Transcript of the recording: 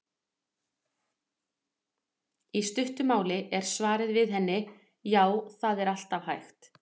Í stuttu máli er svarið við henni: Já, það er alltaf hægt.